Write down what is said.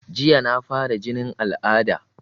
Jiya na fara jinin al'ada